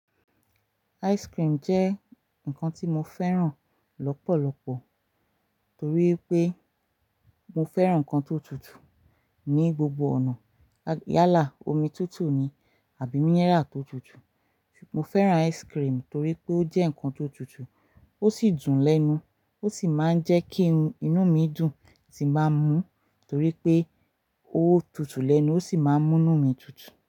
Ice cream jẹ́ nnkan tí mo fẹ́ràn lọ́pọ̀lọpọ̀ torí pé mo fẹ́ràn nnkan tó tutù. Ni gbogbo ọ̀nà, lá yálà omi tutù ni, àbí mínírà tó tutù. Mo fẹ́ràn ice cream torí pé ó jẹ́ nǹkan tó tutù, ó sì dùn lẹ́nu, ó sì máa ń jẹ́ kí inú mi dùn tí n bá mú torí pé ó tutù lẹ́nu, ó sì máa ń mú inú mi tutù.